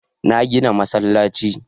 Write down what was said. Na gina masallaci.